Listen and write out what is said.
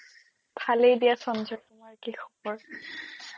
ভালেই দিয়া সঞ্জয় তোমাৰ কি খবৰ